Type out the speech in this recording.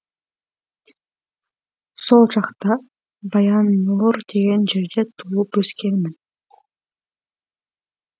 сол жақта баяннұр деген жерде туып өскенмін